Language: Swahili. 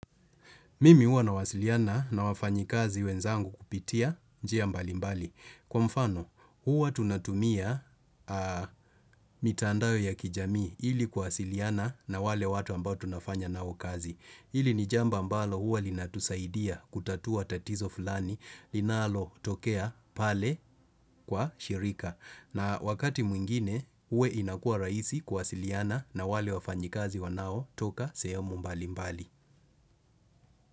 Mimi huwa nawasiliana na wafanyikazi wenzangu kupitia njia mbali mbali. Kwa mfano, huwa tunatumia mitandao ya kijamii ili kuwasiliana na wale watu ambao tunafanya nao kazi. Ili ni jambo ambalo huwa linatusaidia kutatua tatizo fulani, linalotokea pale kwa shirika. Na wakati mwingine, uwe inakua rahisi kuwasiliana na wale wafanyikazi wanaotoka sehemu mbali mbali.